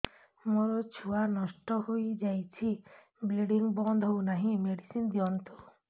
ମୋର ଛୁଆ ନଷ୍ଟ ହୋଇଯାଇଛି ବ୍ଲିଡ଼ିଙ୍ଗ ବନ୍ଦ ହଉନାହିଁ ମେଡିସିନ ଦିଅନ୍ତୁ